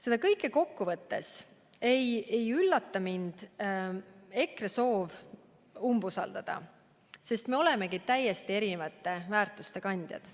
Seda kõike kokku võttes ei üllata EKRE soov mind umbusaldada, sest me olemegi täiesti erinevate väärtuste kandjad.